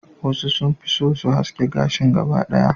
wasu sun fi so su haske gashin gaba ki daya